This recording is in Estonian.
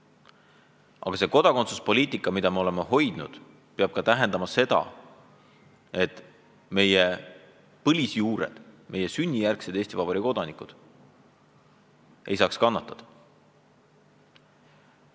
Aga see kodakondsuspoliitika, mida me oleme sellisena hoidnud, peab ka tähendama seda, et meie põliselanikud, sünnijärgsed Eesti Vabariigi kodanikud ei peaks kannatama.